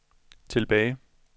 tilbage